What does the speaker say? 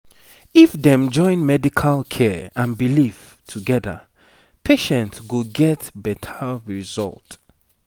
if dem join medical care and belief together patient go get better result